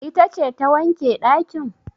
Ita ce ta wanke ɗakin?